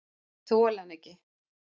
Ég þoli hann ekki.